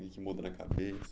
O que muda na cabeça?